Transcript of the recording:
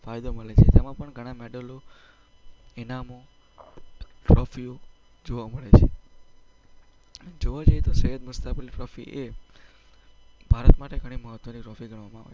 તેમાં પણ ઘણા મેડલ્સ, ઈનામો, ટ્રોફીઓ જોવા મળે છે. જોવા જઈએ તો સૈયદ મુસ્તાક અલી ટ્રોફી એ ભારત માટે ઘણી મહત્ત્વની ટ્રોફી ગણવામાં આવે છે.